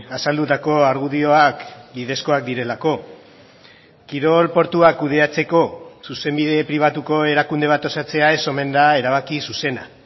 azaldutako argudioak bidezkoak direlako kirol portuak kudeatzeko zuzenbide pribatuko erakunde bat osatzea ez omen da erabaki zuzena